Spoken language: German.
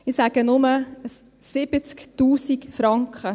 Ich sage nur: 70 000 Franken.